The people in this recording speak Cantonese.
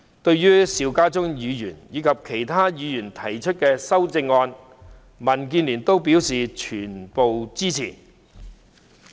對於邵家臻議員的原議案以及其他議員提出的修正案，民建聯表示全部支持。